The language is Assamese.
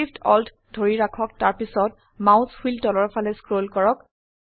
Shift Alt ধৰি ৰাখক তাৰপিছত মাউস হুইল তলৰ ফালে স্ক্ৰল কৰক